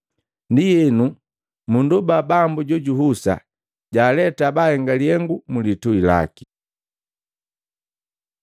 Ndienu mundoba Bambu jojuhusa, jaaleta bahenga lihengu mlitui laki.”